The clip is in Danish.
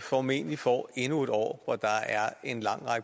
formentlig får endnu et år hvor der er en lang